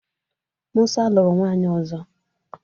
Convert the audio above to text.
Musa lụrụ nwaanyị ọzọ.